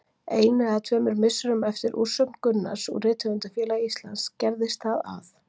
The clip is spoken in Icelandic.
Einu eða tveimur misserum eftir úrsögn Gunnars úr Rithöfundafélagi Íslands gerðist það að